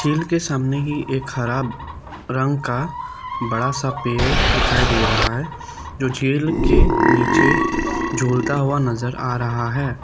झील सामने ही एक हरा रंग का बड़ा सा पेड़ दिखाई दे रहा है जो झील के नीचे झूलता हुआ नजर आ रहा है।